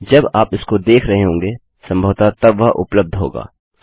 जब आप इसको देख रहे होंगे सम्भवतः तब वह उपलब्ध होगा